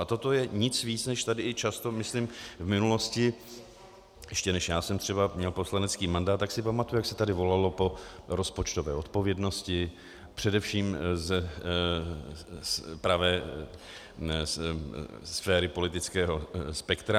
A toto je nic víc než tady i často, myslím v minulosti, ještě než já jsem třeba měl poslanecký mandát, tak si pamatuji, jak se tady volalo po rozpočtové odpovědnosti, především z pravé sféry politického spektra.